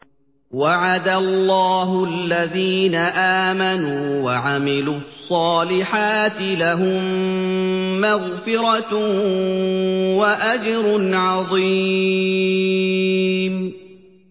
وَعَدَ اللَّهُ الَّذِينَ آمَنُوا وَعَمِلُوا الصَّالِحَاتِ ۙ لَهُم مَّغْفِرَةٌ وَأَجْرٌ عَظِيمٌ